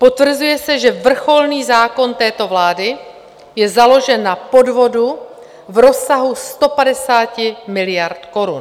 Potvrzuje se, že vrcholný zákon této vlády je založen na podvodu v rozsahu 150 miliard korun.